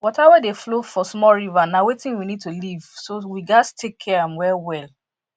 water wey dey flow for small river na wetin we need to live so we gats take care am well well